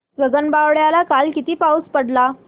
गगनबावड्याला काल किती पाऊस पडला